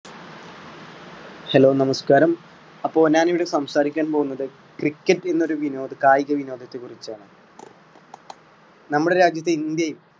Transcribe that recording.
hello നമസ്കാരം. അപ്പൊ ഞാൻ ഇവിടെ സംസാരിക്കാൻ പോകുന്നത് cricket എന്നൊരു വിനോദ കായിക വിനോദത്തെ കുറിച്ചാണ്. നമ്മുടെ രാജ്യത്ത് ഇന്ത്യയിൽ